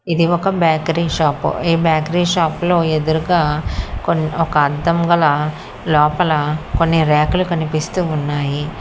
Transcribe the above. ఇది ఒక bakery shop ఈ బేకరీ షాపు లో ఎదురుగా కొన్ ఒక అద్దం గల లోపల కొన్ని రెకలు కనిపిస్తూ ఉన్నాయి.